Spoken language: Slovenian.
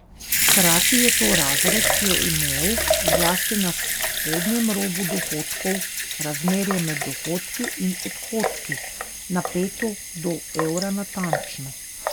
Hkrati je to razred, ki je imel, zlasti na spodnjem robu dohodkov, razmerje med dohodki in odhodki napeto do evra natančno.